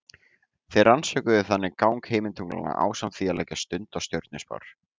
Þeir rannsökuðu þannig gang himintunglanna ásamt því að leggja stund á stjörnuspár.